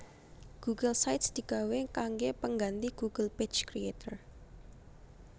Google Sites digawé kanggé pengganthi Google Page Creator